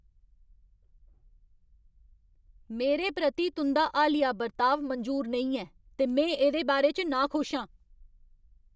मेरे प्रति तुं'दा हालिया बर्ताव मंजूर नेईं ऐ ते में एह्दे बारे च नाखुश आं।